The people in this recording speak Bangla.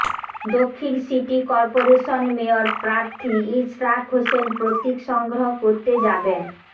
দক্ষিণ সিটি করপোরেশন মেয়র প্রার্থী ইশরাক হোসেন প্রতীক সংগ্রহ করতে যাবেন